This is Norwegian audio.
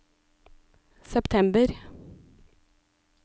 september